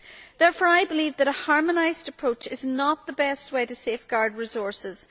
Therefore, I believe that a harmonised approach is not the best way to safeguard resources.